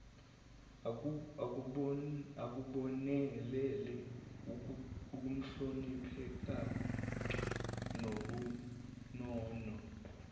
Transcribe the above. ukubonelela ukuhlonipheka nobunono